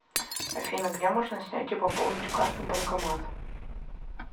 афина где можно снять и пополнить карту банкомат